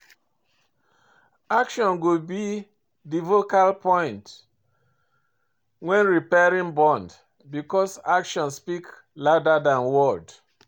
Action go be di vocal point when repairing bond because action speak louder than word.